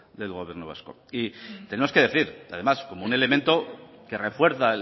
del gobierno vasco tenemos que decir además como un elemento que refuerza